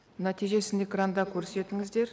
нәтижесін экранда көрсетіңіздер